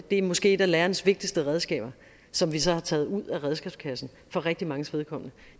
det er måske et af lærernes vigtigste redskaber som vi så har taget ud af redskabskassen for rigtig manges vedkommende